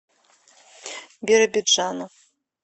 биробиджану